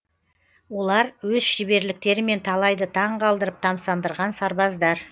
олар өз шеберліктерімен талайды таң қалдырып тамсандырған сарбаздар